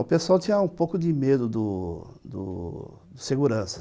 O pessoal tinha um pouco de medo do do segurança.